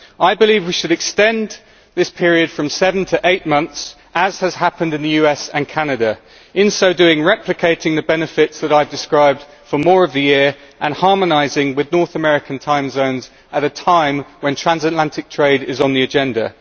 I believe we should extend this period from seven to eight months, as has happened in the US and Canada, in so doing replicating the benefits that I have described for more of the year and harmonising with North American time zones at a time when transatlantic trade is on the agenda.